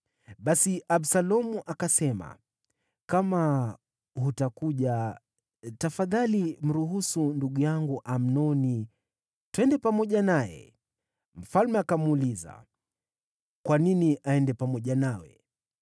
Basi Absalomu akasema, “Kama hutakuja, tafadhali mruhusu ndugu yangu Amnoni twende pamoja naye.” Mfalme akamuuliza, “Kwa nini aende pamoja nawe?”